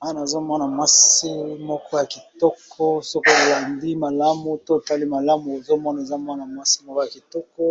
Awa nazomona mwana mwasi moko ya kitoko soki tolandi malamu to otali malamu, ozomona eza mwana mwasi moko ya kitoko